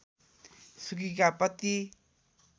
सुकीका पति